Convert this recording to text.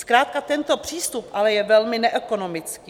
Zkrátka tento přístup je ale velmi neekonomický.